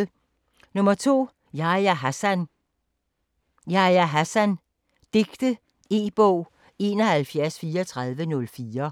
2. Hassan, Yahya: Yahya Hassan: digte E-bog 713404